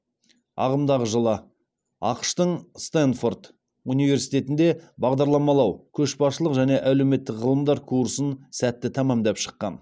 ағымдағы жылы ақш тың стенфорд университетінде бағдарламалау көшбасшылық және әлеуметтік ғылымдар курсын сәтті тәмамдап шыққан